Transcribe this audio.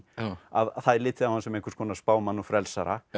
að það er litið á hann sem einhvers konar spámann og frelsara